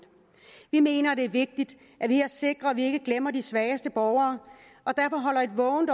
vi mener det er vigtigt at vi her sikrer at vi ikke glemmer de svageste borgere